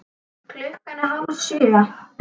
Klukkan er hálf sjö.